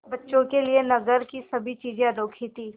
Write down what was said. बच्चों के लिए नगर की सभी चीज़ें अनोखी थीं